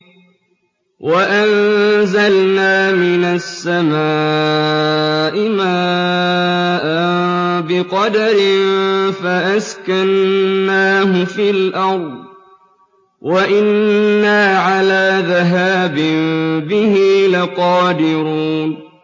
وَأَنزَلْنَا مِنَ السَّمَاءِ مَاءً بِقَدَرٍ فَأَسْكَنَّاهُ فِي الْأَرْضِ ۖ وَإِنَّا عَلَىٰ ذَهَابٍ بِهِ لَقَادِرُونَ